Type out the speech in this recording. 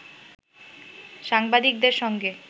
সাংবাদিকদের সঙ্গে